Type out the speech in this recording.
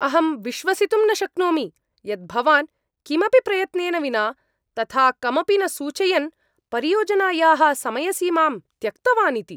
अहं विश्वसितुं न शक्नोमि यत् भवान् किमपि प्रयत्नेन विना तथा कमपि न सूचयन् परियोजनायाः समयसीमां त्यक्तवान् इति।